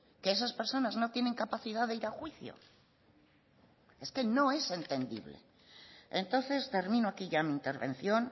que esas personas no tienen capacidad de ir a juicio es que no es entendible entonces termino aquí ya mi intervención